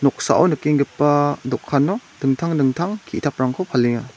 noksao nikenggipa dokano dingtang dingtang ki·taprangko palenga.